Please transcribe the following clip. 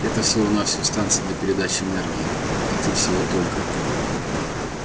это всего-навсего станция для передачи энергии а ты всего только